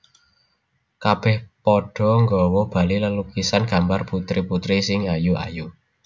Kabèh padha nggawa bali lelukisan gambar putri putri sing ayu ayu